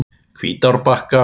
Hvítárbakka